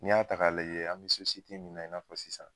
N'i y'a ta k'a laje an be min na i n'a fɔ sisan